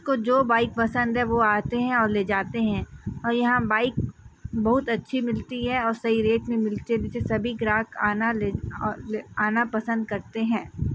को जो बाइक पसंद है वो आते हैं और ले जाते हैं और यहाँ बाइक बहुत अच्छी मिलती है और सही रेट में मिलते जुल- सभी अ ग्राहक आना पसंद करते हैं।